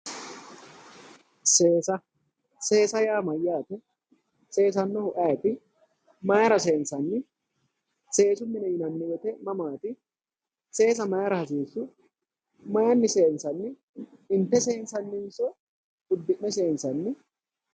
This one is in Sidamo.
Seesa, seesa yaa mayyaate? seesannohu ayeeti? mayeera seensanni? seesu mini yinanni woyte mamaati? seesa mayra hasiissu? mayiinni seensanni? Inte seensanninso uddi'ne seensanni?